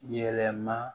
Yɛlɛma